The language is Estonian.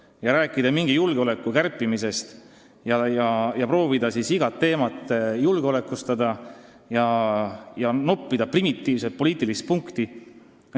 Ei ole mõtet rääkida mingist julgeoleku kärpimisest ja proovida siis igat teemat julgeolekustada, et noppida sellega primitiivset poliitilist punkti.